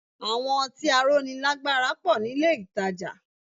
Àwọn ọtí aróni lágbára pọ̀ nílé ìtajà